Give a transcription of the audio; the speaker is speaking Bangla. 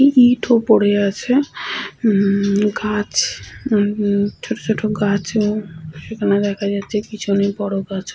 ইট ও পরে আছে উম্মম গাছ উম ছোট ছোট গাছ উম সেখানে দেখা যাচ্ছে পিছনে বড় গাছ--